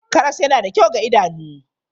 Karas yana da kyau ga idanu.